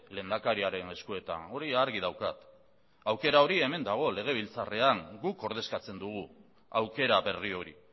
lehendakariaren eskuetan hori argi daukat aukera hori hemen dago legebiltzarrean guk ordezkatzen dugu aukera berri hori